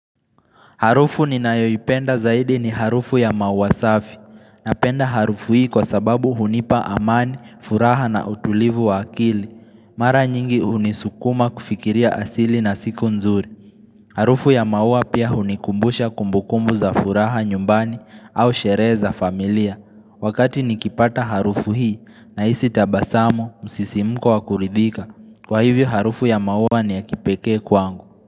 Harufu ninayoipenda zaidi ni harufu ya maua safi. Napenda harufu hii kwa sababu hunipa amani, furaha na utulivu wa akili. Mara nyingi hunisukuma kufikiria asili na siku nzuri. Harufu ya maua pia hunikumbusha kumbukumbu za furaha nyumbani au sherehe za familia. Wakati nikipata harufu hii nahisi tabasamo, msisimuko wa kuridhika. Kwa hivyo harufu ya maua ni ya kipekee kwangu.